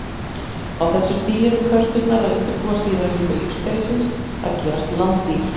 Á þessu stigi eru körturnar að undirbúa síðari hluta lífsferlisins, að gerast landdýr.